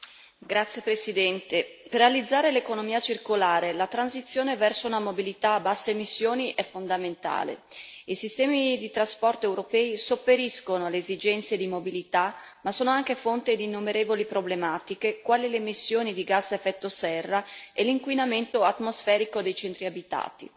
Signor Presidente, onorevoli colleghi, per realizzare l'economia circolare, la transizione verso una mobilità a basse emissioni è fondamentale. I sistemi di trasporto europei sopperiscono alle esigenze di mobilità, ma sono anche fonte di innumerevoli problematiche, quali le emissioni di gas a effetto serra e l'inquinamento atmosferico dei centri abitati.